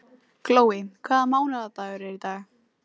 Glói, hvaða mánaðardagur er í dag?